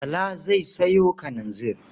Bala zai sayo kalanzir.